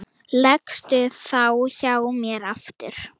Leggstu þá hjá mér aftur.